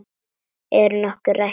Er nokkuð rætt um það?